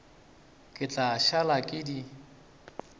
ke tla šala ke di